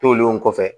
Tolen kɔfɛ